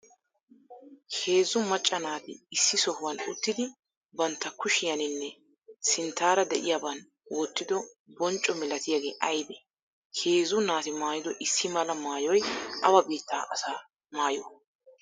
heezzu macaa naati issi sohuwan uttidi bantta kushiyannine sinttara de'iyaban wottido boncco malatiyagee aybee? heezzu naati maayido issi malaa maayoy awa bittaa asaa maayo?